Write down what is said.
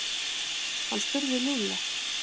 Hann spurði Lúlla.